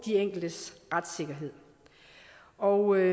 enkeltes retssikkerhed og